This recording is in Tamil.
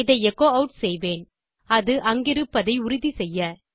இதை எச்சோ ஆட் செய்வேன் அது அங்கிருப்பதை உறுதி செய்ய